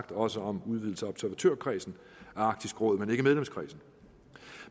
også om udvidelse af observatørkredsen af arktisk råd men ikke medlemskredsen